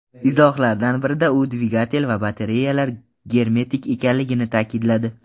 Izohlardan birida u dvigatel va batareyalar germetik ekanligini ta’kidladi.